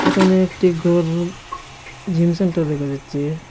এখানে একটি ঘর জিম সেন্টার দেকা যাচ্চে।